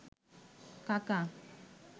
কাকা